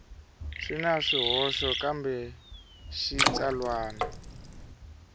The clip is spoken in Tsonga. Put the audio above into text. swi na swihoxo kambe xitsalwana